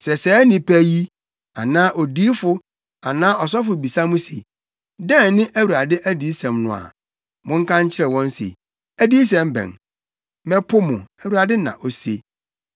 “Sɛ saa nnipa yi, anaa odiyifo anaa ɔsɔfo bisa mo se, ‘Dɛn ne Awurade adiyisɛm no a?’ Monka nkyerɛ wɔn se, ‘Adiyisɛm bɛn? Mɛpo mo, Awurade na ose.’